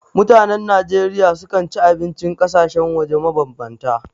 Mutanen Najeriya sukan ci abincin ƙasashen waje mabambanta.